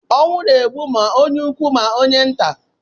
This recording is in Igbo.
Ọnwụ na-egbu ma onye ukwu, ma onye nta